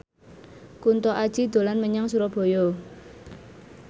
Kunto Aji dolan menyang Surabaya